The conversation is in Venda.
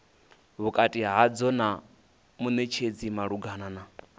vhukati hadzo na munetshedzi malugana